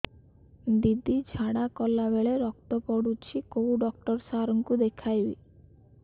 ଦିଦି ଝାଡ଼ା କଲା ବେଳେ ରକ୍ତ ପଡୁଛି କଉଁ ଡକ୍ଟର ସାର କୁ ଦଖାଇବି